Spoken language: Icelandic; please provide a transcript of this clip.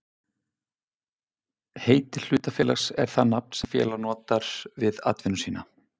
Heiti hlutafélags er það nafn sem félag notar við atvinnu sína.